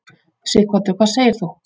Sighvatur: Hvað segir þú?